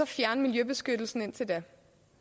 fjerne miljøbeskyttelsen indtil da